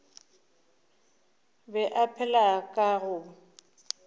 be a phela ka go